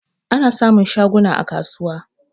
Ana samun shaguna a kasuwa.